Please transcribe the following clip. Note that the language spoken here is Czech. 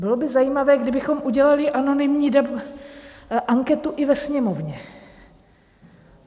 Bylo by zajímavé, kdybychom udělali anonymní anketu i ve Sněmovně.